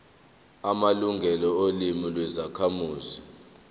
amalungelo olimi lwezakhamuzi